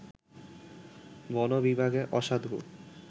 বন বিভাগের অসাধু